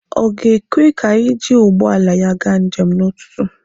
Ọ ga-ekwe ka anyị jiri ụgbọala ya gaa njem n'ụtụtụ?